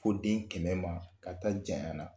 Fo den kɛmɛ ma ka taa jaɲana